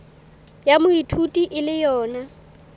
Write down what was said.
ya moithuti e le yona